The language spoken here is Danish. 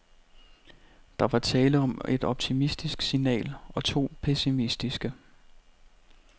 Der var tale om et optimistisk signal og to pessimistiske.